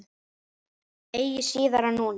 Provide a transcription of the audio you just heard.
Eigi síðar en núna.